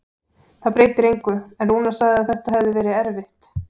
Það breytir engu, en Rúnar sagði að þetta hefði verið erfitt.